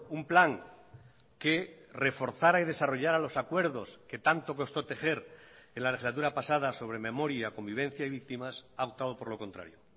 un plan que reforzara y desarrollara los acuerdos que tanto costó tejer en la legislatura pasada sobre memoria convivencia y víctimas ha optado por lo contrario